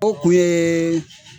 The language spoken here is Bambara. O kun ye